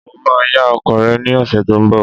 Mo máa yá ọkọ̀ rẹ ní ọ̀sẹ̀ tó ń bọ̀.